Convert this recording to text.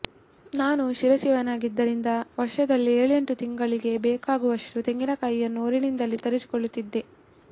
ನಾನು ಶಿರಸಿಯವನಾದ್ದರಿಂದ ವರ್ಷದಲ್ಲಿ ಏಳೆಂಟು ತಿಂಗಳಿಗೆ ಬೇಕಾಗುವಷ್ಟು ತೆಂಗಿನಕಾಯಿಯನ್ನು ಊರಿನಿಂದಲೇ ತರಿಸಿಕೊಳ್ಳುತ್ತೇನೆ